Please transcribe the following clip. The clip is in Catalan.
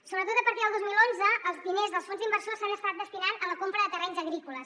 sobretot a partir del dos mil onze els diners dels fons d’inversors s’han estat destinant a la compra de terrenys agrícoles